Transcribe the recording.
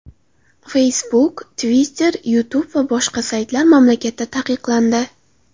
Facebook, Twitter, Youtube va boshqa saytlar mamlakatda taqiqlandi.